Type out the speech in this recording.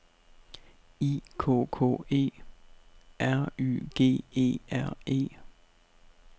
I K K E - R Y G E R E